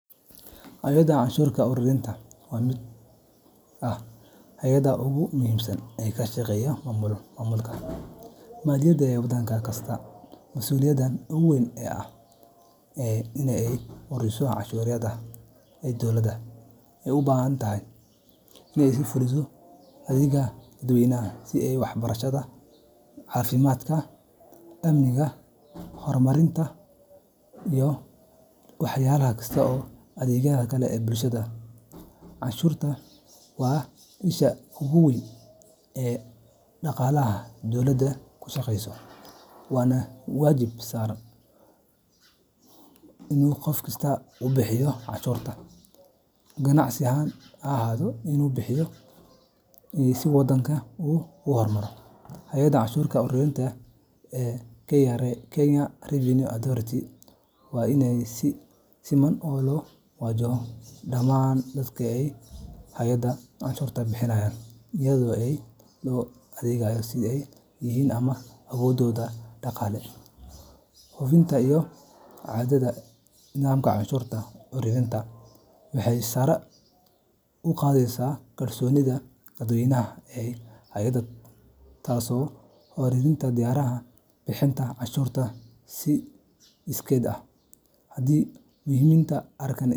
Hay’adda canshuur ururinta waa mid ka mid ah hay’adaha ugu muhiimsan ee ka shaqeeya maamulka maaliyadeed ee waddan kasta. Mas’uuliyadda ugu weyn ee hay’adani waa inay ururiso canshuuraha ay dowladda u baahan tahay si ay u fuliso adeegyada dadweynaha, sida waxbarashada, caafimaadka, amniga, horumarinta kaabayaasha dhaqaalaha, iyo adeegyada kale ee bulshada. Canshuurtu waa isha ugu weyn ee dhaqaalaha dowladuhu ku shaqeeyaan, waana waajib saaran muwaadiniinta iyo ganacsatada inay bixiyaan qaybtooda si waddanku u horumaro. Hay’adaha canshuur ururinta, sida KRA Kenya Revenue Authority. Waa in si siman loo wajaho dhammaan dadka iyo hay’adaha canshuurta bixinaya, iyadoo aan loo eegaynin cidda ay yihiin ama awooddooda dhaqaale. Hufnaanta iyo caddaaladda nidaamka canshuur ururinta waxay sare u qaadaysaa kalsoonida dadweynaha ee hay’adda, taasoo kordhinaysa diyaarinta bixinta canshuurta si iskeed ah. Haddii muwaadiniintu arkaan.